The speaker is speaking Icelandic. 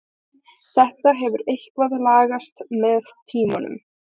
Þetta hefur eitthvað lagast með tímanum.